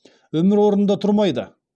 өмір орнында тұрмайды